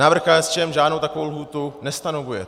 Návrh KSČM žádnou takovou lhůtu nestanovuje.